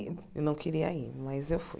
E não queria ir, mas eu fui.